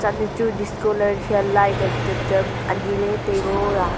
lechu discolight am cham cham anyi le tai ngo a.